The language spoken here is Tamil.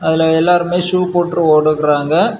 அதுல எல்லாருமே ஷூ போட்டு ஓடுட்றாங்க.